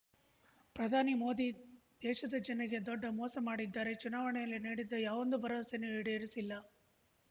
ಪ್ರಧಾನಿ ಮೋದಿ ದೇಶದ ಜನರಿಗೆ ದೊಡ್ಡ ಮೋಸ ಮಾಡಿದ್ದಾರೆ ಚುನಾವಣೆಯಲ್ಲಿ ನೀಡಿದ್ದ ಯಾವೊಂದು ಭರವಸೆಯನ್ನೂ ಈಡೇರಿಸಿಲ್ಲ